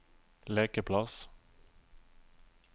lekeplass